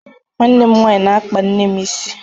Nwanne m nwaanyị na-akpa nne m isi